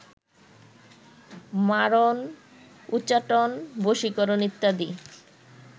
মারণ, উচাটন, বশীকরণ ইত্যাদি